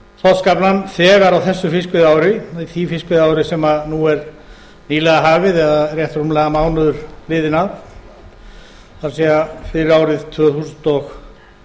þorskaflann þegar á þessu fiskveiðiári því fiskveiðiári sem nú er nýlega hafið eða rétt rúmlega mánuður liðinn af það er fyrir árið tvö þúsund og